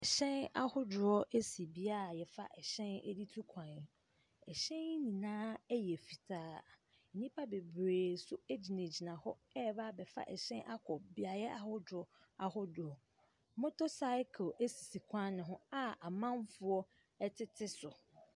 Hyɛn ahodoɔ si beaeɛ a wɔfa hyɛn de tu kwan. Ɛhyɛn yi nyinaa yɛ fitaa. Nnipa bebree nso gyinagyina hɔ reba abɛfa hyɛ akɔ beaeɛ ahodoɔ ahodoɔ. Motorcycle si kwan no ho a amanfoɔ tete so.